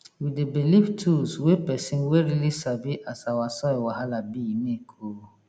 we dey belief tools wey person wey really sabi as our soil wahala bi make oh